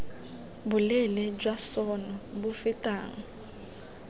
boleele jwa sona bo fetang